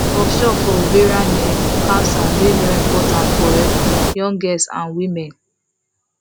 workshop for ovarian um cancer dey very important for um young girls and women